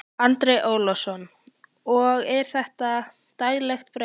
Andri Ólafsson: Og er þetta daglegt brauð?